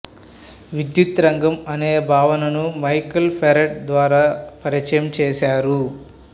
విద్యుత్ రంగం అనే భావనను మైకేల్ ఫెరడే ద్వారా పరిచయం చేశారు